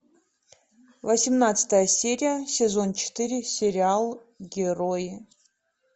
восемнадцатая серия сезон четыре сериал герои